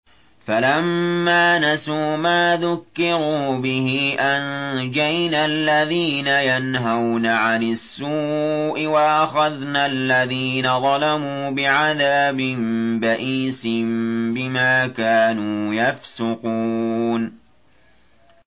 فَلَمَّا نَسُوا مَا ذُكِّرُوا بِهِ أَنجَيْنَا الَّذِينَ يَنْهَوْنَ عَنِ السُّوءِ وَأَخَذْنَا الَّذِينَ ظَلَمُوا بِعَذَابٍ بَئِيسٍ بِمَا كَانُوا يَفْسُقُونَ